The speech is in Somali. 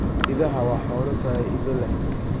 Idaha waa xoolo faa'iido leh.